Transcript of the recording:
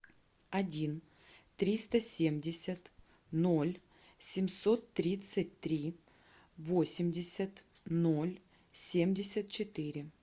один триста семьдесят ноль семьсот тридцать три восемьдесят ноль семьдесят четыре